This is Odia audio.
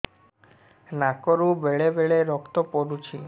ନାକରୁ ବେଳେ ବେଳେ ରକ୍ତ ପଡୁଛି